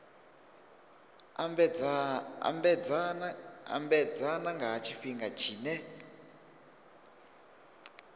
ambedzana nga ha tshifhinga tshine